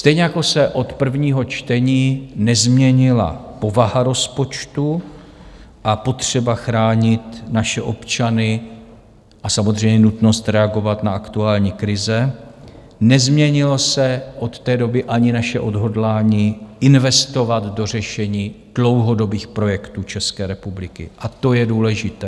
Stejně jako se od prvního čtení nezměnila povaha rozpočtu a potřeba chránit naše občany a samozřejmě nutnost reagovat na aktuální krize, nezměnilo se od té doby ani naše odhodlání investovat do řešení dlouhodobých projektů České republiky, a to je důležité.